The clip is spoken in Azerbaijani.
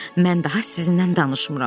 Mən daha sizinlə danışmıram.